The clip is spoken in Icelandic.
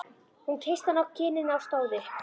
Hún kyssti hann á kinnina og stóð upp.